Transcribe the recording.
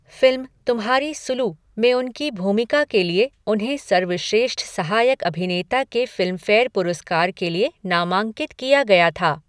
Film "Tumhari Sulu" में उनकी भूमिका के लिए उन्हें सर्वश्रेष्ठ सहायक अभिनेता के फ़िल्मफ़ेयर पुरस्कार के लिए नामांकित किया गया था।